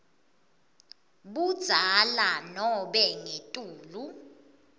budzala nobe ngetulu